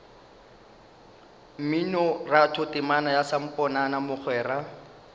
mminoratho temana ya samponana mogwera